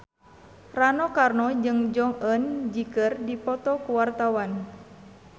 Rano Karno jeung Jong Eun Ji keur dipoto ku wartawan